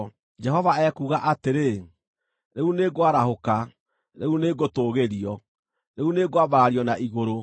Jehova ekuuga atĩrĩ, “Rĩu nĩngwarahũka, rĩu nĩngũtũũgĩrio; rĩu nĩngwambarario na igũrũ.